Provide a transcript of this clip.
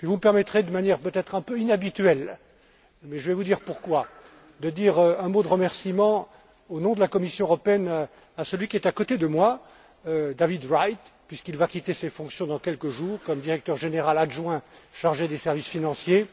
Et puis vous me permettrez, de manière peut être un peu inhabituelle mais je vais vous dire pourquoi de dire un mot de remerciement, au nom de la Commission européenne, à celui qui est à côté de moi, David Wright, puisqu'il va quitter ses fonctions dans quelques jours, comme directeur général adjoint chargé des services financiers,